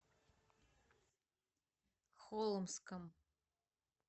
холмском